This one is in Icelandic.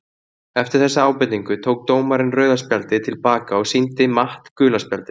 Eftir þessa ábendingu tók dómarinn rauða spjaldið til baka og sýndi Matt gula spjaldið!